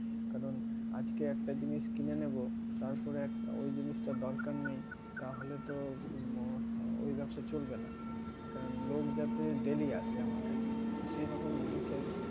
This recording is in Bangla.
কারণ আজকে একটা জিনিস কিনে নেব তারপরে ওই জিনিসটা দরকার নেই তাহলে তো ওই ব্যবসা চলবে না কারণ লোক যাতে daily আসে আমার কাছে তো সেরকম জিনিসের,